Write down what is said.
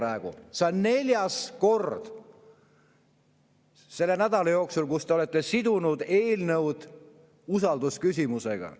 See on neljas kord selle nädala jooksul, kui te olete sidunud eelnõu usaldusküsimusega.